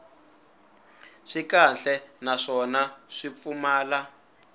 swi kahle naswona swi pfumala